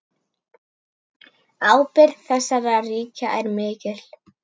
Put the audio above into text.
Ábyrgð þessara ríkja er mikil.